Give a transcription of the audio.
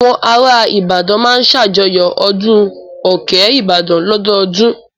Àwọn ará Ìbàdàn máa ń ṣàjọyọ̀ ọdún òkè Ìbàdàn lọ́dọọdún.